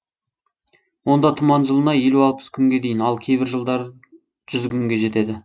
онда тұман жылына елу алпыс күнге дейін ал кейбір жылдары жүз күнге жетеді